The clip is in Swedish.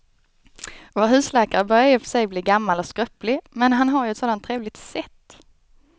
Vår husläkare börjar i och för sig bli gammal och skröplig, men han har ju ett sådant trevligt sätt!